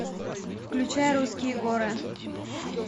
включай русские горы